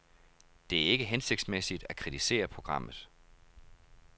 Det er ikke hensigtsmæssigt at kritisere programmet.